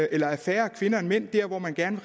eller er færre kvinder end mænd der hvor man gerne